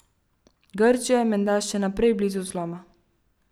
Grčija je menda še naprej blizu zloma.